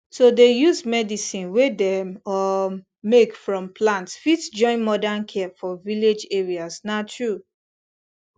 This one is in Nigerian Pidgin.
to dey use medicine wey dem um make from plant fit join modern care for village areas na true